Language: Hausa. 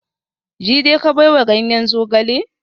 Jide ka baiwa ganyen zogale?